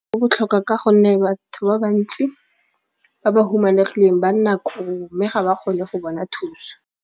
Botlhokwa ka gonne batho ba bantsi ba ba humanegileng ba nna mme ga ba kgone go bona thuso.